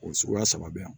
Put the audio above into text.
O suguya saba bɛ yan